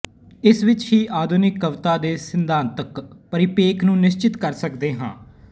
ਇਸ ਵਿਚ ਹੀ ਆਧੁਨਿਕ ਕਵਿਤਾ ਦੇ ਸਿਧਾਂਤਕ ਪਰਿਪੇਖ ਨੂੰ ਨਿਸ਼ਚਿਤ ਕਰ ਸਕਦੇ ਹਾਂ